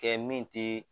Kɛ min te